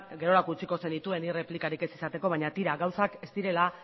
gerorako utziko zenituen nik erreplikarik ez izateko baina tira gauzak ez direla